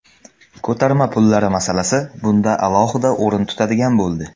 Ko‘tarma pullari masalasi bunda alohida o‘rin tutadigan bo‘ldi.